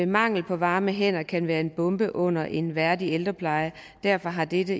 mangel på varme hænder kan være en bombe under en værdig ældrepleje derfor har dette